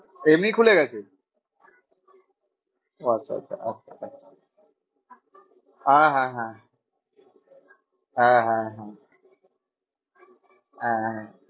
এমনি খুলে গেছে? আচ্ছা আচ্ছা হ্যাঁ হ্যাঁ হ্যাঁ হ্যাঁ হ্যাঁ হ্যাঁ হ্যাঁ হ্যাঁ